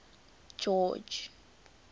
george